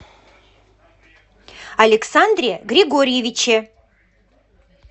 александре григорьевиче